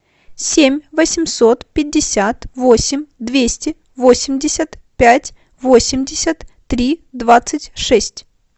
семь восемьсот пятьдесят восемь двести восемьдесят пять восемьдесят три двадцать шесть